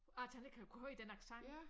At han ikke har kunne høre den accent